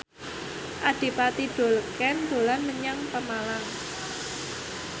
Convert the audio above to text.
Adipati Dolken dolan menyang Pemalang